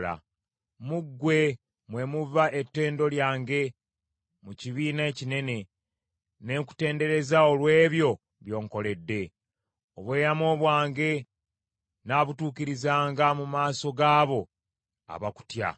Mu ggwe mwe muva ettendo lyange mu kibiina ekinene, ne nkutendereza olw’ebyo by’onkoledde. Obweyamo bwange nnaabutuukirizanga mu maaso gaabo abakutya.